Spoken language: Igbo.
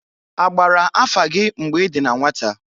A gbara afa gị mgbe i dị na nwata?